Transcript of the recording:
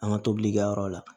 An ka tobilikɛ yɔrɔ la